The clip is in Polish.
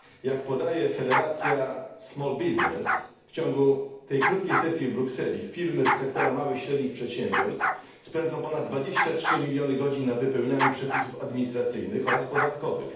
Jak podaje federacja Small Business, w ciągu tej krótkiej sesji w Brukseli firmy z sektora małych i średnich przedsiębiorstw spędzą ponad 23 miliony godzin na wypełnianiu przepisów administracyjnych oraz podatkowych.